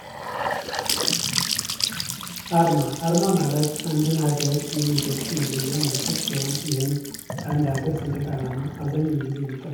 አርማ ማለት አንድ ሀገር የሚገልጽ መለያ መልክት ሲሆን ይህም በአንድ አገር ሰንደቅ አላማ አብዛኛው ጊዜ የሚቀመጥነው።